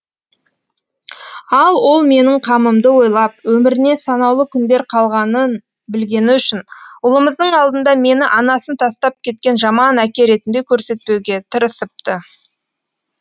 ал ол менің қамымды ойлап өміріне санаулы күндер қалғанын білгені үшін ұлымыздың алдында мені анасын тастап кеткен жаман әке ретінде көрсетпеуге тырысыпты